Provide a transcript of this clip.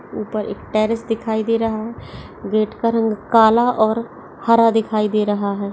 ऊपर एक टेरिस दिखाई दे रहा है। गेट का रंग काला और हरा दिखाई दे रहा है।